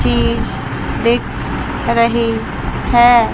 चीज़ दिख रही है।